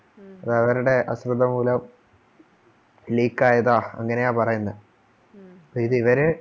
അവരുടെ അശ്രദ്ധ മൂലം leak ക്കായതാ അങ്ങനെ പറയുന്നത് ഇത് ഇവരെ